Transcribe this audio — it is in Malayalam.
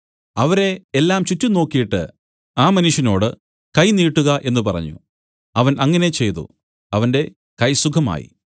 അവരെ എല്ലാം ചുറ്റും നോക്കീട്ട് ആ മനുഷ്യനോടു കൈ നീട്ടുക എന്നു പറഞ്ഞു അവൻ അങ്ങനെ ചെയ്തു അവന്റെ കൈ സുഖമായി